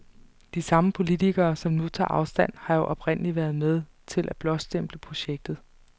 De samme politikere, som nu tager afstand, har jo oprindeligt været med til at blåstemple projektet.